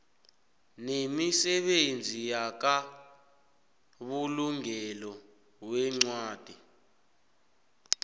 nemisebenzi yamabulungelo weencwadi